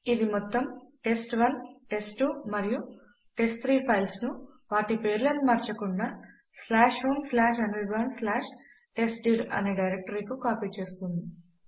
ఇది మొత్తము test1టెస్ట్2 మరియు టెస్ట్3 ఫైల్స్ ను వాటి పేర్లను మార్చకుండా homeanirbantestdir అనే డైరెక్టరీకు కాపీ చేస్తుంది